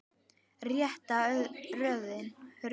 Rétta röðin.